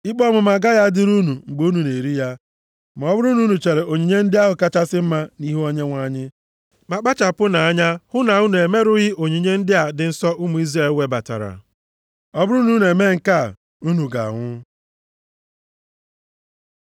Ikpe ọmụma agaghị adịrị unu mgbe unu na-eri ya ma ọ bụrụ na unu chere onyinye ndị ahụ kachasị mma nʼihu Onyenwe anyị. Ma kpachapụnụ anya hụ na unu e merụghị onyinye ndị a dị nsọ ụmụ Izrel webatara. Ọ bụrụ na unu emee nke a, unu ga-anwụ.’ ”